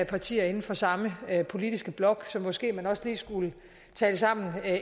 partier inden for samme politiske blok så måske man også lige skulle tale sammen